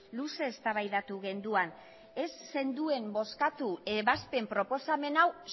luze eztabaidatu genuen ez zenduen bozkatu ebazpen proposamen hau